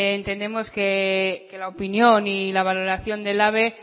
entendemos que la opinión y la valoración de ehlabe